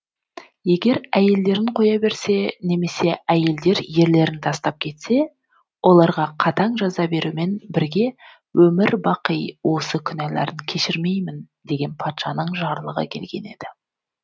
егер әйелдерін қоя берсе немесе әйелдер ерлерін тастап кетсе оларға қатаң жаза берумен бірге өмір бақи осы күнәларын кешірмеймін деген патшаның жарлығы келген еді